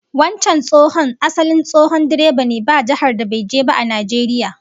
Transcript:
Wancan tsohon asali tsohon direba ne, ba jihar da bai je ba a Najeriya